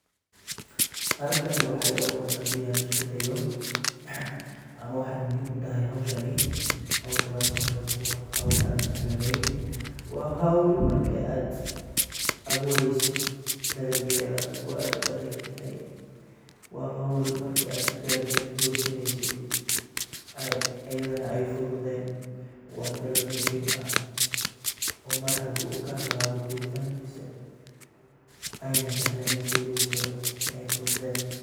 halkan waxa iga muqda hadii aan iskudayo ama wexey muhim utahy howshani howl aan sahlaneyn. howl markaad abureyid oo dala gosaneysid eey ayadana fududhen wqa tala muhiim aah oo mar haduu ka halabo ayn sahalenen ineey fudeden